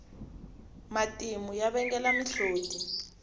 matimu ya vangela mihloti